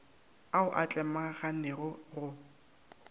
ao a tlemaganego a go